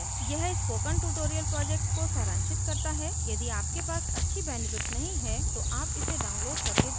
यह spoken tutorial project को सारांशित करता है यदि आपके पास अच्छी bandwidth नहीं है तो आप इसे download करके देख सकते हैं